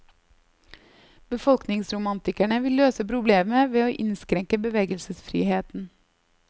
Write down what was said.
Befolkningsromantikerne vil løse problemet ved å innskrenke bevegelsesfriheten.